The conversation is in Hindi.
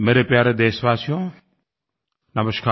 मेरे प्यारे देशवासियों नमस्कार